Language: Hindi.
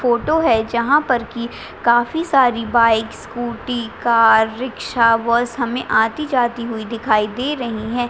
फोटो जहाँ पर की काफी सारी bike scooty car rickshaw bus हमें आती-जाती हुई दिखाई दे रही है।